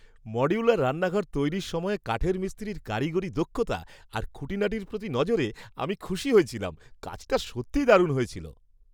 Modular রান্নাঘর তৈরির সময়ে কাঠের মিস্ত্রির কারিগরি দক্ষতা আর খুঁটিনাটির প্রতি নজরে আমি খুশি হয়েছিলাম। কাজটা সত্যিই দারুণ হয়েছিল।